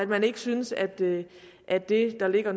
man ikke synes at det at det der ligger